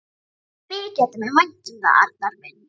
Mikið þætti mér vænt um það, Arnar minn!